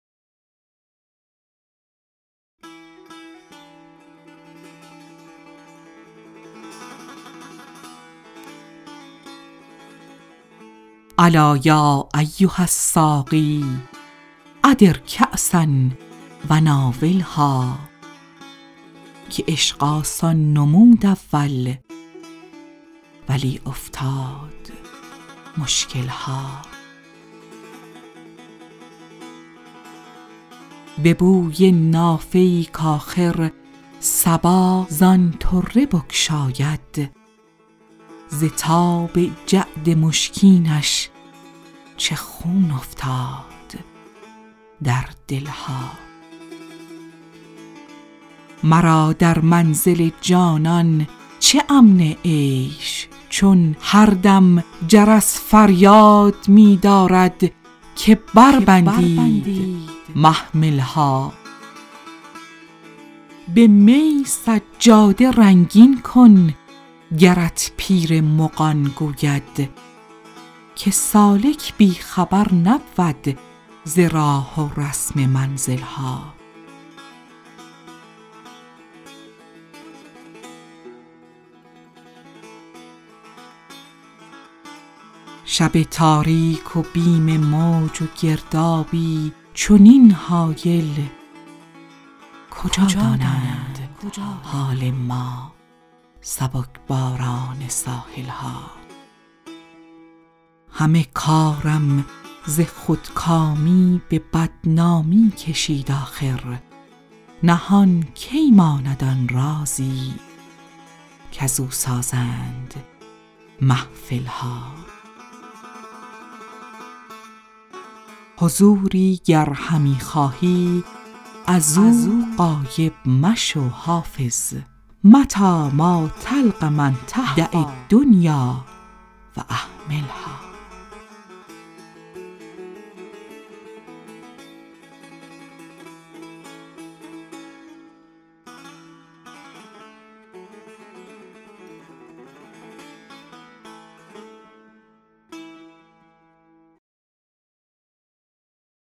الا یا ایها الساقی ادر کأسا و ناولها که عشق آسان نمود اول ولی افتاد مشکل ها به بوی نافه ای کآخر صبا زان طره بگشاید ز تاب جعد مشکینش چه خون افتاد در دل ها مرا در منزل جانان چه امن عیش چون هر دم جرس فریاد می دارد که بربندید محمل ها به می سجاده رنگین کن گرت پیر مغان گوید که سالک بی خبر نبود ز راه و رسم منزل ها شب تاریک و بیم موج و گردابی چنین هایل کجا دانند حال ما سبک باران ساحل ها همه کارم ز خودکامی به بدنامی کشید آخر نهان کی ماند آن رازی کزو سازند محفل ها حضوری گر همی خواهی از او غایب مشو حافظ متیٰ ما تلق من تهویٰ دع الدنیا و اهملها